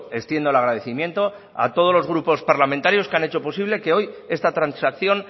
extiendo el agradecimiento a todos los grupos parlamentarios que han hecho posible que hoy esta transacción